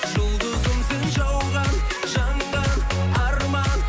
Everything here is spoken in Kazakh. жұлдызым сен жауған жанған арман